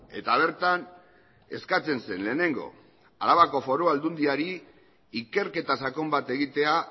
eta bertan eskatzen zen lehenengo arabako foru aldundiari ikerketa sakon bat egitea